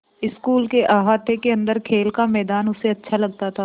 school के अहाते के अन्दर खेल का मैदान उसे अच्छा लगता था